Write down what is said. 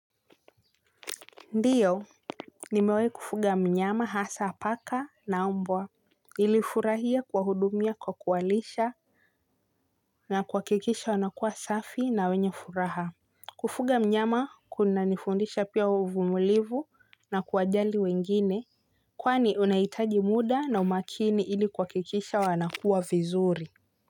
Ndiyo nimewahi kufuga mnyama hasa paka na mbwa nilifurahia kuwahudumia kwa kuwalisha na kuhakikisha wanakuwa safi na wenye furaha. Kufuga mnyama kunanifundisha pia uvumulivu na kuwajali wengine. Kwani unahitaji muda na umakini ili kuhakikisha wanakua vizuri.